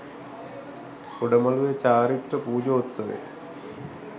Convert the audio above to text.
උඩ මළුවේ චාරිත්‍ර පූජෝත්සවය